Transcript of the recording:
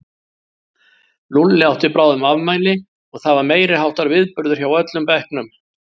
Lúlli átti bráðum afmæli og það var meiriháttar viðburður hjá öllum bekknum.